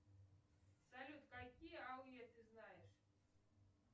салют какие ауе ты знаешь